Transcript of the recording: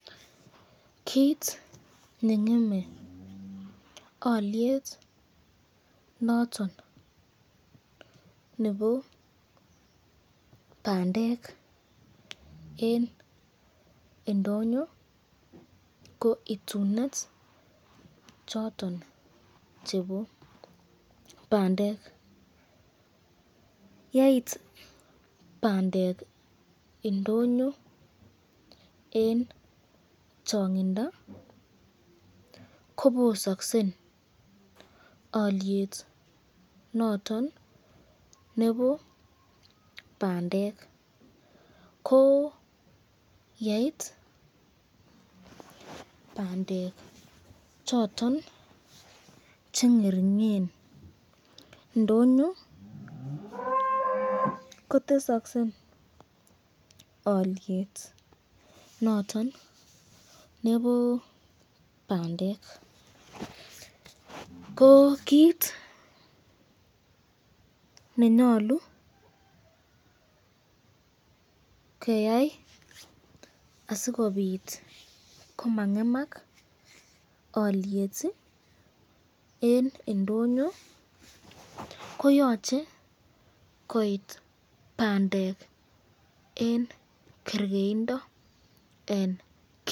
Kiit nengeme oliet noton nebo pandek eng ndonyo ko itunet choton chebo pandek yeit pandek ndonyo eng chong'indo kobosoksen oliet noton nebo pandek ko yeit pandek choton chengeringen ndonyo kotesoksen oliet noton nebo pandek ko kiit nenyolu keyai asikobit koma ng'emak oliet eng ndonyo koyoche koit pandek eng kerkeindo en.